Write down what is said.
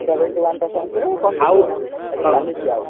seventy one ଟା century continuous ଏବେ ଚାଲିଚି ଆଉ